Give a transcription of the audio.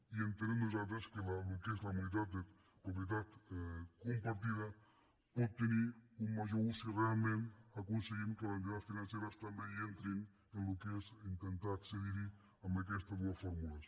i entenem nosaltres que el que és la modalitat de propietat compartida pot tenir un major ús si realment aconseguim que les entitats financeres també hi entrin en el que és intentar accedir hi amb aquestes dues fórmules